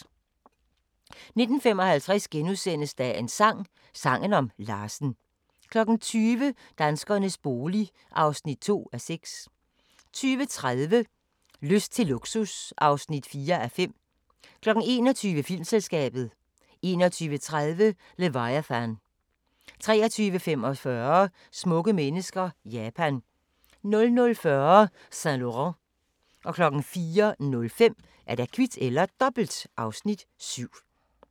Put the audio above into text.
19:55: Dagens sang: Sangen om Larsen * 20:00: Danskernes bolig (2:6) 20:30: Lyst til luksus (4:5) 21:00: Filmselskabet 21:30: Leviathan 23:45: Smukke mennesker – Japan 00:40: Saint Laurent 04:05: Kvit eller Dobbelt (Afs. 7)